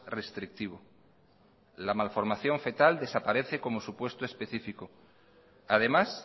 restrictivo la malformación fetal desaparece como supuesto específico además